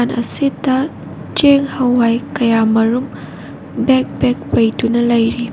ꯑꯁꯤꯇ ꯆꯦꯡ ꯍꯋꯥꯏ ꯀꯌꯥ ꯃꯔꯨꯝ ꯕꯦꯛ ꯕꯦꯛ ꯄꯩꯗꯨꯅ ꯂꯩꯔꯤ꯫